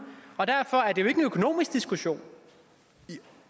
derfor er det jo ikke en økonomisk diskussion i